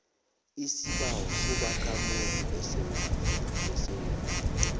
isibawo sobakhamuzi besewula